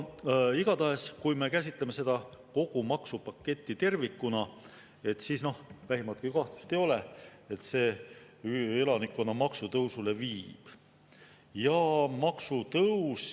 Igatahes, kui me käsitleme kogu seda maksupaketti tervikuna, et siis noh, vähimatki kahtlust ei ole, et see elanikkonnale maksutõusu.